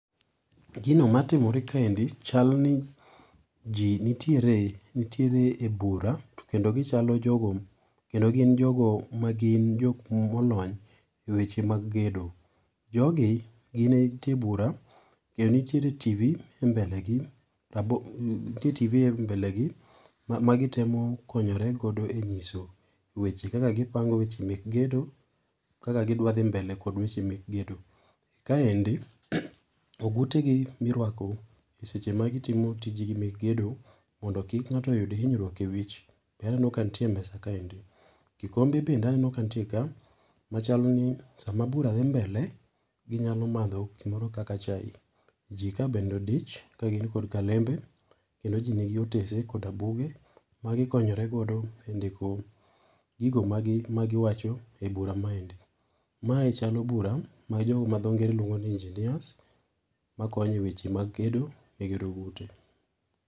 Gino matimore kaendi chalni ji nitiere, nitiere e bura to kendo gichalo jogo kendo gin jogo magin jok molony e wech mag gedo. Jogi gintie e bura, kendo nitie TV e mbelegi nitie TV e mbelegi, ma ma gitemo konyore go e nyiso weche, kaka gipango weche mek gedo, kaka gidwa dhi mbele kod weche mek gedo. Kaendi ogutegi mirwako e seche ma gitimo tijegi mek gedo mondo kik ngáto yud hinyruok e wich be aneno ka nitie e mesa kaendi. Kikombe bende aneno ka nitie ka, machalni sama bura dhi mbele, ginyalo madho gimoro kaka chai. Ji ka bende odich, ka gin kod kalembe, kendo ji nigi otese koda buge, magikonyoregodo e ndiko gigo magi magi wacho e bura maendi. Mae chalo bura ma jo madhongere luongoni engineers makonyo e weche mag gedo e gero ute.